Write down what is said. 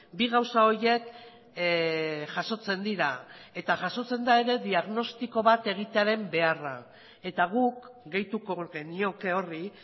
bi gauza horiek jasotzen dira eta jasotzen da ere diagnostiko bat egitearen beharra eta guk gehituko genioke horri